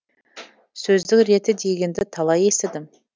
сөздің реті дегенді талай естідім